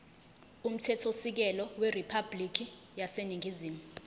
umthethosisekelo weriphabhulikhi yaseningizimu